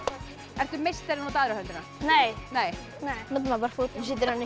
ertu meistari nota aðra höndina nei nei notar maður bara fótinn